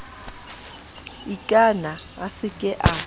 ikana a se ke a